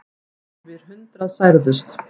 Yfir hundrað særðust.